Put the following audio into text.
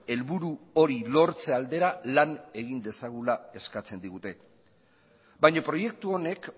helburu hori lortze aldera lan egin dezagula eskatzen digute baina proiektu honek